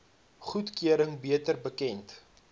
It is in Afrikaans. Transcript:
goedkeuring beter bekend